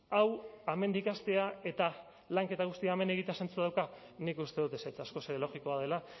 hau hemendik hastea eta lanketa guztia hemen egitea zentzua dauka nik uste dut ezetz askoz ere logikoa dela